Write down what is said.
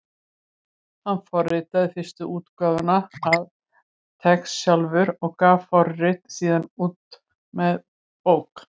Hann forritaði fyrstu útgáfuna af TeX sjálfur og gaf forritið síðan út sem bók.